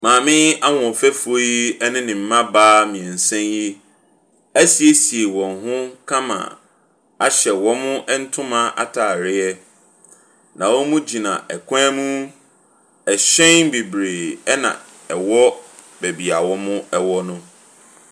Maame ahoɔfefoɔ yi ɛne ne mmamaa mmiɛnsa yi ɛsiesie wɔn ho kama ahyɛ wɔn ntoma ataareɛ. Na wɔgyina kwan mu. Ɛhyɛn bebree na ɛwɔ baabi a wɔn wɔ no.